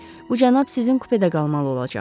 Bu cənab sizin kupədə qalmalı olacaq.